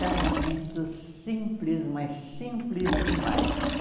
Casamento simples, mas simples demais.